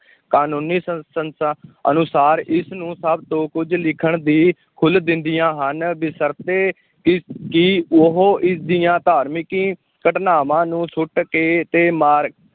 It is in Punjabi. ਕਾਨੂੰਨੀ ਅਨੁਸਾਰ ਇਸ ਨੂੰ ਸਭ ਤੋਂ ਕੁੱਝ ਲਿਖਣ ਦੀ ਖੁੱਲ੍ਹ ਦਿੰਦੀਆਂ ਹਨ, ਬਸ਼ਰਤੇ ਕਿ ਕਿ ਉਹ ਇਸ ਦੀਆਂ ਧਾਰਮਿਕੀ ਘਟਨਾਵਾਂ ਨੂੰ ਸੁੱਟ ਕੇ ਤੇ ਮਾਰ